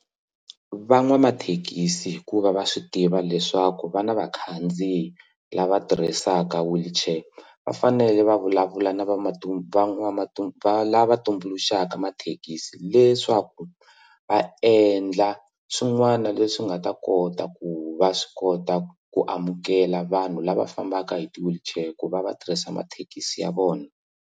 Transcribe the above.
Van'wamathekisi hikuva va swi tiva leswaku va na vakhandziyi lava tirhisaka wheelchair va fanele va vulavula na va lava switumbuluxaka thekisi leswaku va endla swin'wana leswi nga ta kota ku va swi kota ku amukela vanhu lava fambaka hi ti wheelchair ku va va tirhisa mathekisi ya vona.